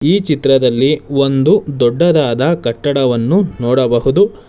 ಈ ಚಿತ್ರದಲ್ಲಿ ಒಂದು ದೊಡ್ಡದಾದ ಕಟ್ಟಡವನ್ನು ನೋಡಬಹುದು.